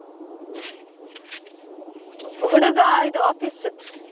ಹುಡುಗ ಇದು office .